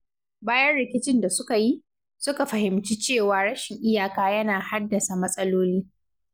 Bayan rikicin da suka yi, suka fahimci cewa rashin iyaka yana haddasa matsaloli.